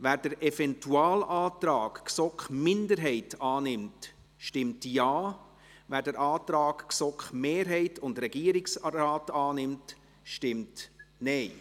Wer den Eventualantrag der GSoK-Minderheit annimmt, stimmt Ja, wer den Antrag GSoK-Mehrheit und Regierungsrat annimmt, stimmt Nein.